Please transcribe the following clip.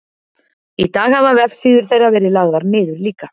í dag hafa vefsíður þeirra verið lagðar niður líka